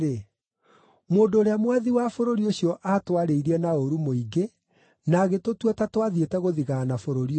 “Mũndũ ũrĩa mwathi wa bũrũri ũcio aatwarĩirie na ũũru mũingĩ na agĩtũtua ta twathiĩte gũthigaana bũrũri ũcio.